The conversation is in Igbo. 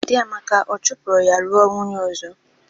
Di Amaka ọ chopụrụ ya lụa nwunye ọzọ?